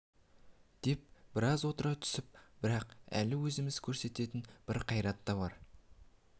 деп біраз отыра түсіп бірақ әлі өзіміз көрсететін бір қайрат та бар